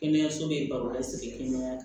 Kɛnɛyaso bɛ baro la sigiɲɔgɔnya